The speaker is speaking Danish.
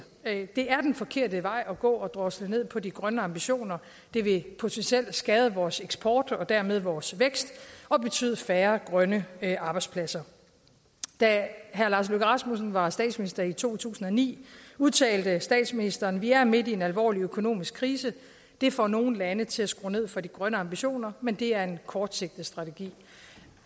det er den forkerte vej at gå at drosle ned på de grønne ambitioner det vil potentielt skade vores eksport og dermed vores vækst og betyde færre grønne arbejdspladser da herre lars løkke rasmussen var statsminister i to tusind og ni udtalte statsministeren vi er midt i en alvorlig økonomisk krise det får nogle lande til at skrue ned for de grønne ambitioner men det er kortsigtet strategi